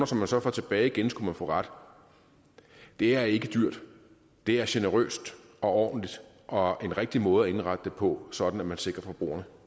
som man så får tilbage igen skulle man få ret det er ikke dyrt det er generøst og ordentligt og en rigtig måde at indrette det på sådan at man sikrer forbrugerne